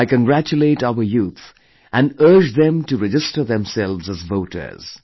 I congratulate our youth & urge them to register themselves as voters